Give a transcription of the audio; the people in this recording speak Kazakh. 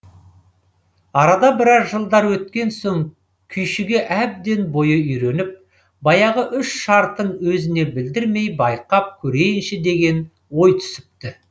арада біраз жылдар өткен соң күйшіге әбден бойы үйреніп баяғы үш шартын өзіне білдірмей байқап көрейінші деген ой түсіпті